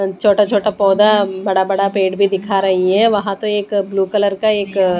छोटा छोटा पौधा बड़ा बड़ा पेड़ भी दिखा रही है वहां तो एक ब्लू कलर का एक--